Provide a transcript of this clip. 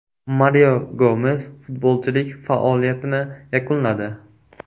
Mario Gomes futbolchilik faoliyatini yakunladi.